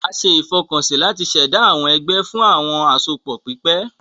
A ṣe ìfọkànsí láti ṣ'èdá àwọn egbé fún àwọn àsopọ pípè